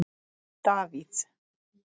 Davíð